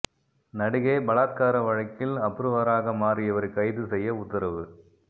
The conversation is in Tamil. நடிகை பலாத்கார வழக்கில் அப்ரூவராக மாறியவரை கைது செய்ய உத்தரவு